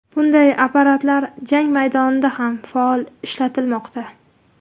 Bunday apparatlar jang maydonida ham faol ishlatilmoqda.